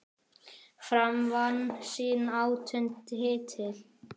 Fram vann sinn áttunda titil.